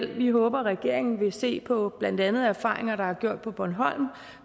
vi håber at regeringen vil se på blandt andet erfaringer der er gjort på bornholm